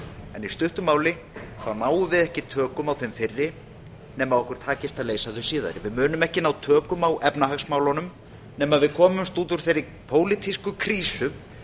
en í stuttu mál náum við ekki tökum á þeim fyrri nema okkur takist að leysa þau síðari við munum ekki ná tökum á efnahagsmálunum nema við komumst út úr þeirri pólitísku krísu